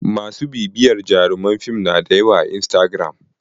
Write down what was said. Ma su bibiyarta jaruman fin na da yawa a istagiram.